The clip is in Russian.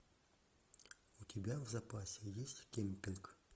у тебя в запасе есть кемпинг